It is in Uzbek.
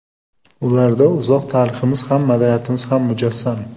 Ularda uzoq tariximiz ham, madaniyatimiz ham mujassam.